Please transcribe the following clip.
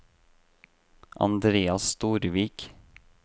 Andrea Storvik